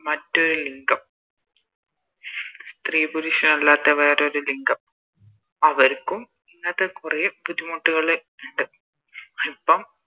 മറ്റേ ലിംഗം സ്ത്രീ പരുഷ അല്ലാത്ത വേറൊരു ലിംഗം അവർക്കും ഇങ്ങത്തെ കൊറേ ബുദ്ധിമുട്ടുകള് ഇണ്ട് ഇപ്പോം